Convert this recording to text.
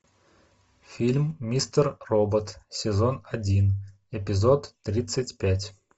фильм мистер робот сезон один эпизод тридцать пять